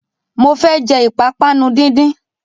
Mo fẹ́ jẹ ìpápánu díndín